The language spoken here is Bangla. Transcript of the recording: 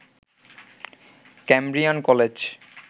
Cambrian college